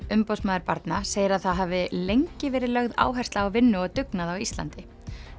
umboðsmaður barna segir að það hafi lengi verið lögð áhersla á vinnu og dugnað á Íslandi